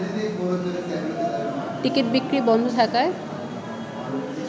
ticket বিক্রি বন্ধ থাকায়